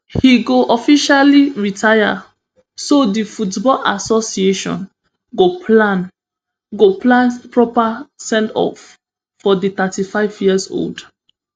im go officially retire so di football association go plan go plan proper sendoff for di thirty-fiveyearold